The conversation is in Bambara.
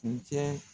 Kuncɛ